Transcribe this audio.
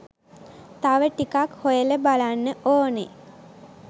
තව ටිකක් හොයල බලන්න ඕනෙ.